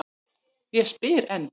Ég spyr enn.